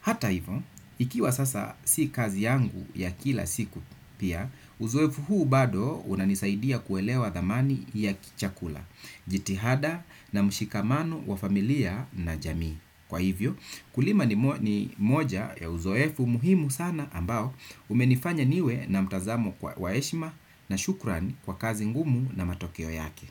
Hata hivo, ikiwa sasa si kazi yangu ya kila siku pia, uzoefu huu bado unanisaidia kuelewa dhamani ya kichakula, jitihada na mshikamano wa familia na jamii. Kwa hivyo, kulima ni moja ya uzoefu muhimu sana ambao umenifanya niwe na mtazamo kwa wa heshima na shukrani kwa kazi ngumu na matokeo yake.